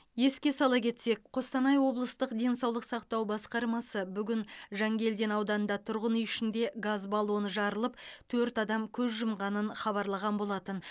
еске сала кетсек қостанай облыстық денсаулық сақтау басқармасы бүгін жангелдин ауданында тұрғын үй ішінде газ баллоны жарылып төрт адам көз жұмғанын хабарлаған болатын